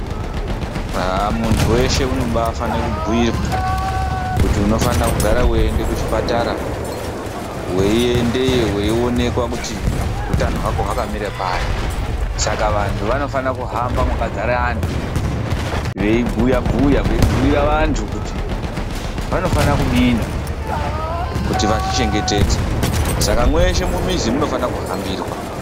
Aah muntu weshe unobaafane kubhuirwa, kuti unofanira kugara weiende kuchipatara. Weiendeyo weionekwa kuti utano hwako hwakamire pari. Saka vantu vanofana kuhamba mwakadzara antu, veibhuyabhuya veibhuira vantu kuti vanofana kudini kuti vazvichengetedze. Saka mweshe mumizi munofana kuhambirwa